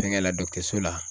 Fɛnkɛ la dɔgɔtɔrɔso la